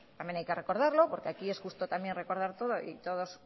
también hay que recordarlo porque aquí es justo también recordar todo y todos